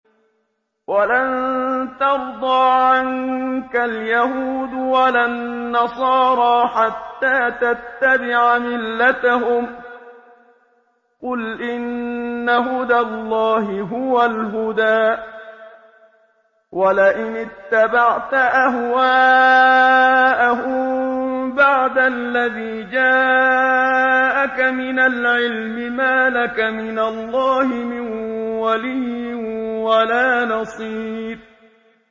وَلَن تَرْضَىٰ عَنكَ الْيَهُودُ وَلَا النَّصَارَىٰ حَتَّىٰ تَتَّبِعَ مِلَّتَهُمْ ۗ قُلْ إِنَّ هُدَى اللَّهِ هُوَ الْهُدَىٰ ۗ وَلَئِنِ اتَّبَعْتَ أَهْوَاءَهُم بَعْدَ الَّذِي جَاءَكَ مِنَ الْعِلْمِ ۙ مَا لَكَ مِنَ اللَّهِ مِن وَلِيٍّ وَلَا نَصِيرٍ